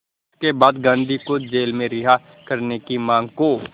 इसके बाद गांधी को जेल से रिहा करने की मांग को